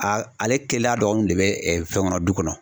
A ale kelaya dɔgɔniw de bɛ fɛn kɔnɔ